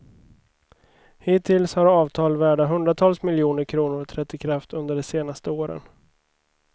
Hittills har avtal värda hundratals miljoner kronor trätt i kraft under de senaste åren.